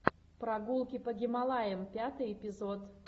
прогулки по гималаям пятый эпизод